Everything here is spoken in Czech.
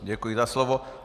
Děkuji za slovo.